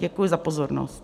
Děkuji za pozornost.